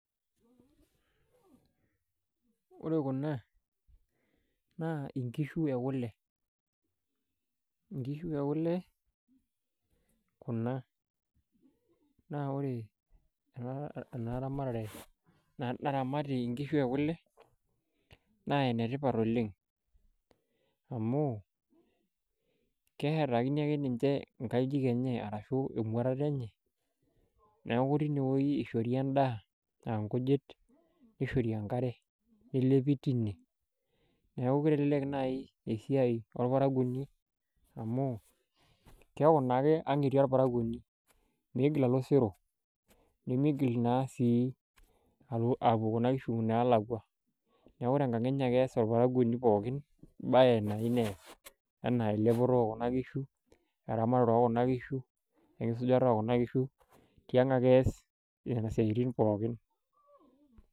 Ore kuna naa inkishu e kule inkishu ekule kuna naa ore ena ramatare naramati inkishu ekule naa enetipat oleng amu keerakini ake ninche inkajijik enye arashuu emuatata enye neeku tenewueji eishori endaa aa inkujit nishori enkare nelepi tine neeku keleleku naaji esiai orparakuoni amu keeku naake ang etii orparakuoni meigil alo osero nemeigil naa sii alo apuo kuna kishu inaalakwa neeku tenkang enye ake eeas orparakuoni pookin embaye nayieu neas enaa elepore ekuna kishu eramatare ekuna kishu enkisujata ekuna kishu tiang ake eas nena siatin pookin.